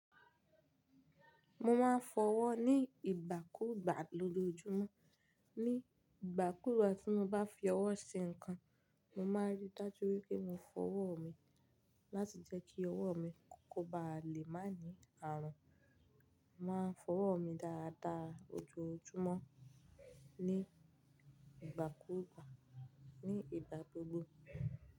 Mo máa ń fọwọ́ ní ìgbà kúùgbà lójoojúmọ́. Ni ìgbà kùùgbà tí mo bá fi ọwọ́ ṣe nǹkan, mo máa rí dájú wípé mo fọ ọwọ́ mi láti jẹ́ kí ọwọ́ mi kò bá lè má ní àrùn. Mo máa ń fọwọ́ mi dáadáa ojoojúmọ́ ní ìgbà kúùgbà ní ìgbà gbogbo.